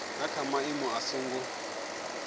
ha kha maimo a songo